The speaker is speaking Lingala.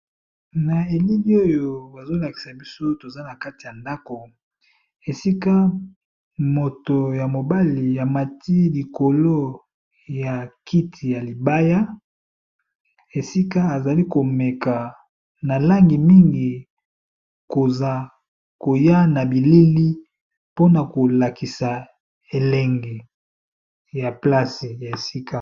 Na elili oyo bazolakiza biso toza nakati ya ndako esika moto ya mobali amati likolo ya kiti ya mabaya esika azali KO meka na langi mingi koza koya na bilili po na kolakisa elenge.